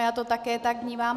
Já to také tak vnímám.